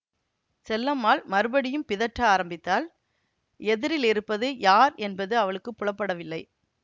செல்லம்மாள் மறுபடியும் பிதற்ற ஆரம்பித்தாள் எதிரிலிருப்பது யார் என்பது அவளுக்கு புலப்படவில்லை